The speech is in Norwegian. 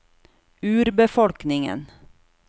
urbefolkningen